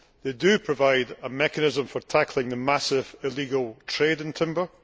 They provide a mechanism for tackling the massive illegal trade in timber.